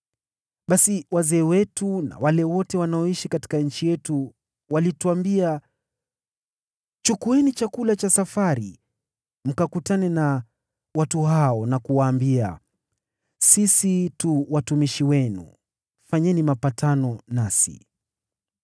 Basi wazee wetu na wale wote wanaoishi katika nchi yetu walituambia, ‘Chukueni chakula cha safari; nendeni mkakutane na watu hao na kuwaambia, “Sisi tu watumishi wenu, fanyeni mapatano nasi.” ’